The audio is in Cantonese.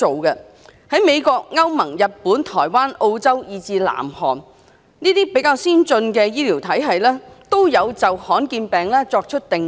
在美國、歐盟、日本、台灣、澳洲，以至南韓，這些比較先進的醫療體系，都有就罕見病作出定義。